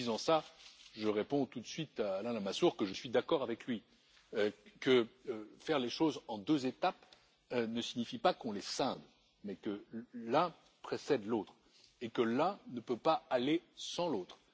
En disant cela, je réponds tout de suite à Alain Lamassoure que je suis d'accord avec lui, que faire les choses en deux étapes ne signifie pas qu'on les scinde mais que l'un précède l'autre et que l'un ne peut pas aller sans l'autre.